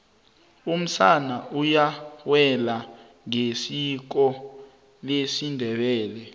umsana uyawela ngesiko lesindebele